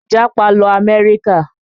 Jápa lọ Amerika!